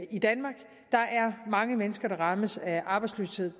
i danmark der er mange mennesker der rammes af arbejdsløshed